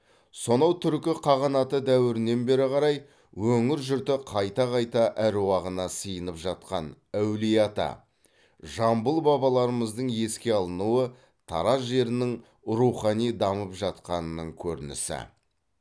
сонау түркі қағанаты дәуірінен бері қарай өңір жұрты қайта қайта әруағына сыйынып жатқан әулиеата жамбыл бабаларымыздың еске алынуы тараз жерінің рухани дамып жатқанының көрінісі